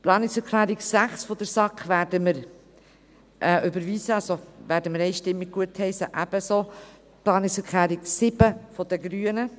Die Planungserklärung 6 der SAK werden wir überweisen, also einstimmig gutheissen, ebenso die Planungserklärung 7 der Grünen.